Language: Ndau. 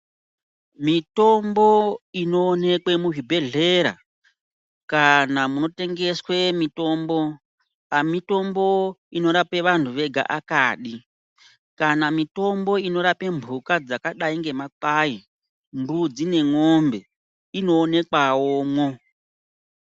Mitombo inoonekwe muzvibhedhlera kana munotengeswe mitombo amitombo inorape vanthu vega akadi kana mitombo mbuka dzakadai ngemakwai mbidzi nemombe inoonekwawomwo.